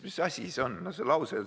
Mis asi see on?